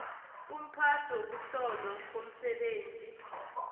umphathi wokuhlolwa komsebenzi